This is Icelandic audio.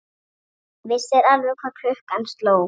Vissir alveg hvað klukkan sló!